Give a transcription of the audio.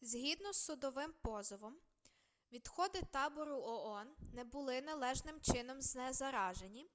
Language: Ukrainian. згідно з судовим позовом відходи табору оон не були належним чином знезаражені